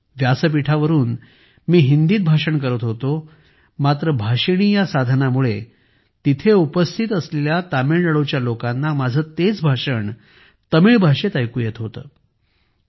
मी व्यासपीठावरून हिंदीत भाषण करत होतो मात्र भाषिणी या साधनामुळे तिथे उपस्थित असलेल्या तामिळनाडूच्या लोकांना माझे तेच भाषण तमिळ भाषेत ऐकू येत होते